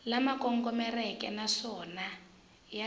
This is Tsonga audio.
lama kongomeke naswona ya ri